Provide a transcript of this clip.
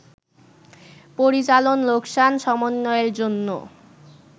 পরিচালন লোকসান সমন্বয়ের জন্য